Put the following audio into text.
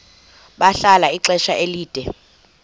bahlala ixesha elide